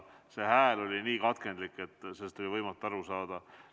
Heli oli nii katkendlik, et võimatu oli aru saada.